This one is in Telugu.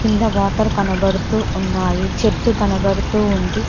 కింద వాటర్ కనబడుతూ ఉన్నాయి చెట్టు కనబడుతూ ఉంది.